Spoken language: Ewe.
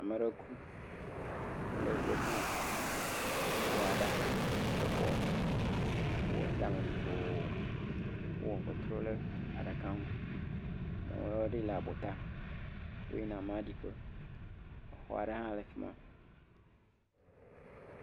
Ame ɖe ku, wole eƒe ku wɔ, wowɔ wo aɖaka abe xɔ ene, wowɔ tame yibɔɔ, wowɔ ŋɔtru ɖe aɖaka ŋu, ame ɖewo droe ɖe abɔta, woyina amea ɖiƒe, xɔ aɖe hã fi ma.